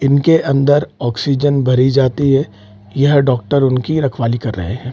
इनके अंदर ऑक्सीजन भरी जाती है यह डॉक्टर उनकी रखवाली कर रहें हैं।